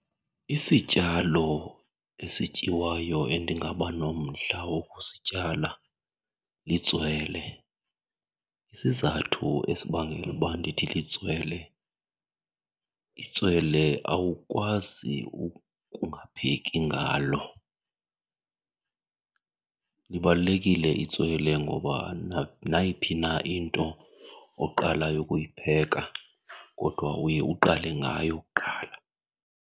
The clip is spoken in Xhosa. Isityalo esityiwayo endingaba nomdla wokusityala litswele. Isizathu esibangela uba ndithi litswele, itswele awukwazi ukungapheki ngalo. Libalulekile itswele ngoba nayiphi na into oqalayo ukuyipheka kodwa uye uqale ngayo kuqala.